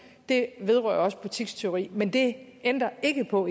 det vedrører også butikstyveri men igen det ændrer ikke på